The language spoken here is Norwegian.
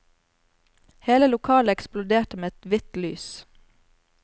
Hele lokalet eksploderte med ett hvitt lys.